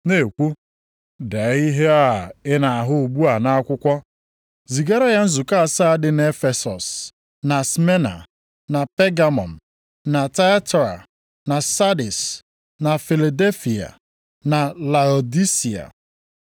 na-ekwu, “Dee ihe ị na-ahụ ugbu a nʼakwụkwọ zigara ya nzukọ asaa dị nʼEfesọs na Smyrna na Pegamọm na Tiatira na Sardis, na Filadelfia na Laodisia.”